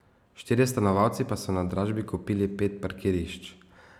Štirje stanovalci pa so na dražbi kupili pet parkirišč.